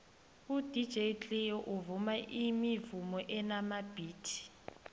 udj cleo uvuma imivumo enamabhithi